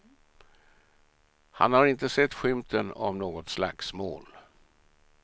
Han har inte sett skymten av något slagsmål.